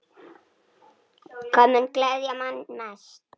Hvað mun gleðja mann mest?